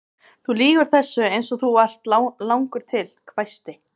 Elín Margrét Böðvarsdóttir: Hvað finnst þér um þetta allt?